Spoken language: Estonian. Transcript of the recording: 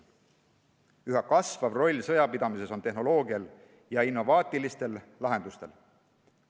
Üha kasvav roll sõjapidamises on tehnoloogial ja innovaatilistel lahendustel.